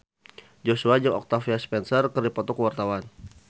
Joshua jeung Octavia Spencer keur dipoto ku wartawan